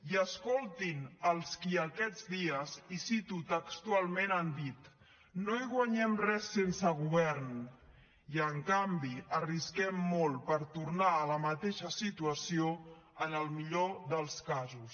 i escoltin els qui aquests dies i cito textualment han dit no hi guanyem res sense govern i en canvi arrisquem molt per tornar a la mateixa situació en el millor dels casos